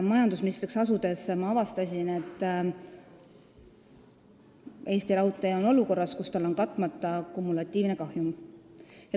Majandusministriks asudes ma avastasin, et Eesti Raudtee on olukorras, kus tal on katmata kumulatiivne kahjum.